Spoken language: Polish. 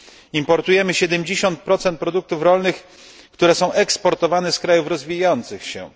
Importujemy 70 produktów rolnych, które są eksportowane z krajów rozwijających się.